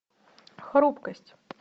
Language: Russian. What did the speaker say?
хрупкость